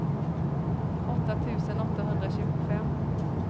åtta tusen åttahundratjugofem